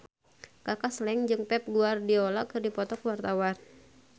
Kaka Slank jeung Pep Guardiola keur dipoto ku wartawan